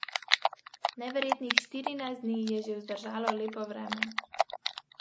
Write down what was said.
Babica je kuhinjsko krpo pazljivo potiskala okoli vročih plošč na štedilniku.